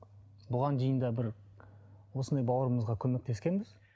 бұған дейін де бір осындай бауырымызға көмектескенбіз